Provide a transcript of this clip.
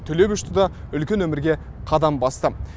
түлеп ұшты да үлкен өмірге қадам басты